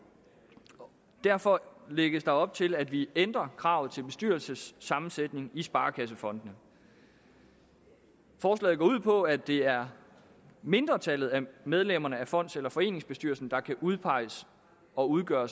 derfor lægges der op til at vi ændrer kravet til bestyrelsessammensætningen i sparekassefondene forslaget går ud på at det er mindretallet af medlemmerne af fonds eller foreningsbestyrelsen der kan udpeges og udgøre